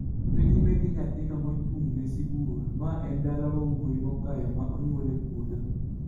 kendo nyime gi nyathino mochung' ne Sibuor (ma en dala wuowi makayo ma onyuol e puodho).